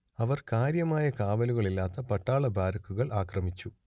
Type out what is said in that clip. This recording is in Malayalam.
അവർ കാര്യമായ കാവലുകളില്ലാത്ത പട്ടാള ബാരക്കുകൾ ആക്രമിച്ചു